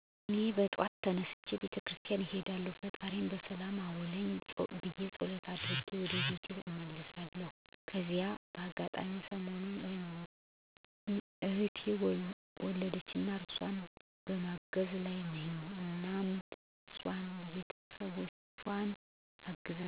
እኔ በጠዋት ተነስቼ ቤተ ክርስቲያን እሄዳለሁ ፈጣሪየን በሰላም አዉለኝ ብየ ፀሎቴን አድርጌ ወደ ቤቴ እመለሳለሁ። ከዚያ በአጋጣሚ ሰሞኑን እህቴ ወለደችና እሷን በማገዝ ላይ ነኝ እናም ሷንና ቤተሰቦቿን ስንከባከብ፣ ልብስ ሳጥብ፣ ምግብ ስሰራላት፣ የሚመጣዉን እንግዳ ሳስተናግድ፣ ባለኝ ጊዜ የiCog ስራየን ስሰራ እዉላለሁ።